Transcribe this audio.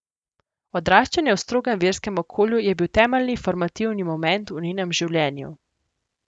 Odraščanje v strogem verskem okolju je bil temeljni formativni moment v njenem življenju.